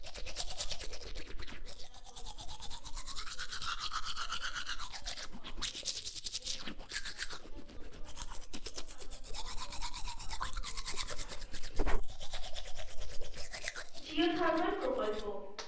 jio thermal প্রকল্প,